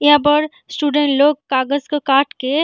यहाँ पर स्टूडेंट लोग कागज को काट के --